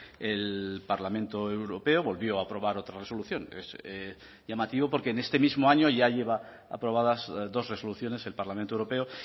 el parlamento europeo volvió a aprobar otra resolución es llamativo porque en este mismo año ya lleva aprobadas dos resoluciones el parlamento europeo